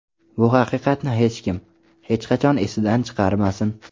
Bu haqiqatni hech kim, hech qachon esidan chiqarmasin.